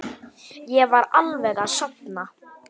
Ég var alveg að sofna.